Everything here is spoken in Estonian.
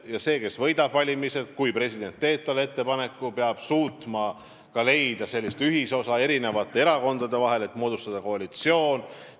Ja see, kes võidab valimised, peab, kui president teeb talle selle ettepaneku, suutma leida eri erakondade ühisosa, et moodustada koalitsioon.